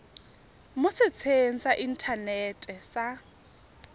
mo setsheng sa inthanete sa